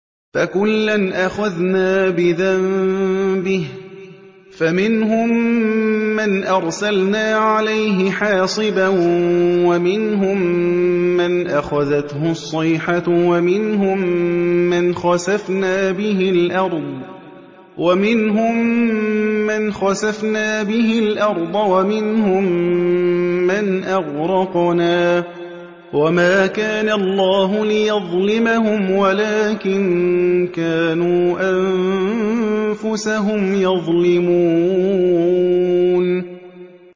فَكُلًّا أَخَذْنَا بِذَنبِهِ ۖ فَمِنْهُم مَّنْ أَرْسَلْنَا عَلَيْهِ حَاصِبًا وَمِنْهُم مَّنْ أَخَذَتْهُ الصَّيْحَةُ وَمِنْهُم مَّنْ خَسَفْنَا بِهِ الْأَرْضَ وَمِنْهُم مَّنْ أَغْرَقْنَا ۚ وَمَا كَانَ اللَّهُ لِيَظْلِمَهُمْ وَلَٰكِن كَانُوا أَنفُسَهُمْ يَظْلِمُونَ